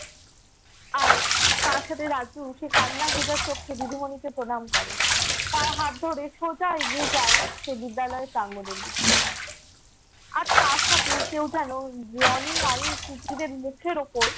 আর তার সাথে রাজু সে কান্না ভেজা চোখে দিদিমণিকে প্রণাম করে। তার হাত ধরে সোজা এগিয়ে যায় সেই বিদ্যালয়ের প্রাঙ্গণের দিকে। আর তার সাথেই কেউ যেনো জনি, আয়ুশ, নিখিলের মুখের উপর